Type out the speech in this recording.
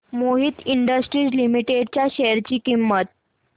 Mohit industries limited च्या share ची किंमत